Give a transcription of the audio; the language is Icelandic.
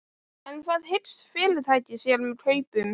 En hvað hyggst fyrirtækið sér með kaupunum?